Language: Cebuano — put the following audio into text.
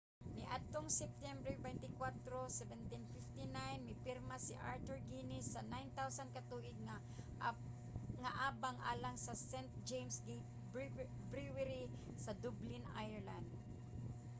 niadtong septiyembre 24 1759 mipirma si arthur guinness sa 9,000 ka tuig nga abang alang sa st james' gate brewery sa dublin ireland